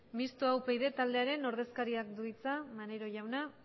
mixtoa upyd taldearen ordezkariak du hitza maneiro jauna